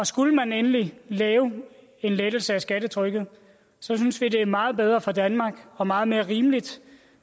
skulle man endelig lave en lettelse af skattetrykket synes vi det ville være meget bedre for danmark og meget mere rimeligt